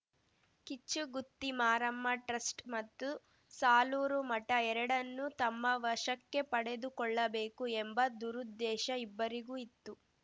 Kichchugutti Maramma trust ಮತ್ತು ಸಾಲೂರು ಮಠ ಎರಡನ್ನೂ ತಮ್ಮ ವಶಕ್ಕೆ ಪಡೆದುಕೊಳ್ಳಬೇಕು ಎಂಬ ದುರುದ್ದೇಶ ಇಬ್ಬರಿಗೂ ಇತ್ತು